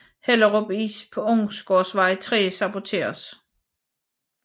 Hellerup Is på Onsgårdsvej 3 saboteres